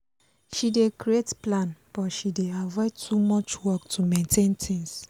she dey create plan but she dey avoid too much work to maintain things